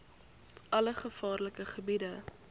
alle gevaarlike gebiede